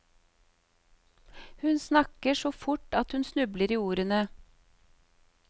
Hun snakker så fort at hun snubler i ordene.